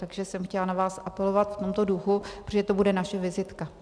Takže jsem chtěla na vás apelovat v tomto duchu, protože to bude naše vizitka.